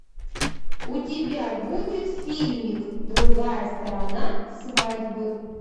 у тебя будет фильмик другая сторона свадьбы